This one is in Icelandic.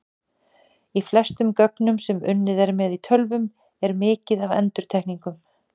Í flestum gögnum sem unnið er með í tölvum er mikið af endurtekningum.